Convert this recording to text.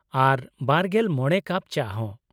ᱟᱨ ᱒᱕ ᱠᱟᱯ ᱪᱟ ᱦᱚᱸ᱾